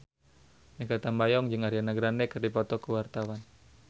Mikha Tambayong jeung Ariana Grande keur dipoto ku wartawan